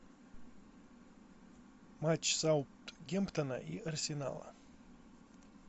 матч саутгемптона и арсенала